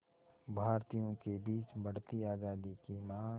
भारतीयों के बीच बढ़ती आज़ादी की मांग